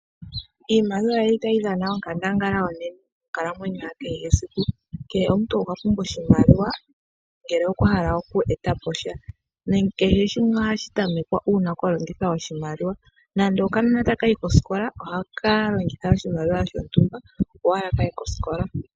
Iimaliwa oyili tayi dhana onkandangala onene monkalamwenyo ya kehe esiku. Kehe omuntu okwa pumbwa oshimaliwa, ngele okwa hala oku etapo sha, nenge kehe shimwe ohashi tamekwa una kwa longithwa oshimaliwa, nande okanona taka yi kosikola ohaka longitha oshimaliwa shontumba, opo owala kaye kosikola.